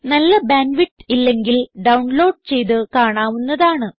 നല്ല bandwidth ഇല്ലെങ്കിൽ download ചെയ്ത് കാണാവുന്നതാണ്